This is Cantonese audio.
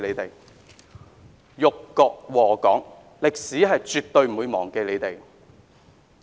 "——你們這些人辱國禍港，歷史絕對不會忘記你們！